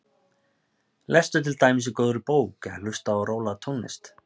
Lestu til dæmis í góðri bók eða hlustaðu á rólega tónlist.